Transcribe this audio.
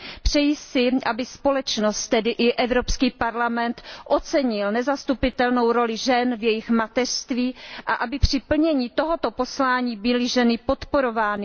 Přeji si, aby společnost, tedy i Evropský parlament, ocenil nezastupitelnou roli žen v jejich mateřství a aby při plnění tohoto poslání byly ženy podporovány.